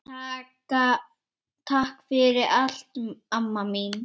Takk fyrir allt, amma mín.